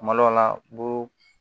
Kuma dɔw la bu